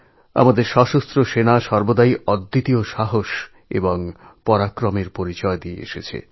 আমাদের সশস্ত্র সেনা অদম্য সাহসের পরিচয় দিয়ে থাকে